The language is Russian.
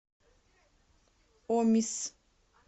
омис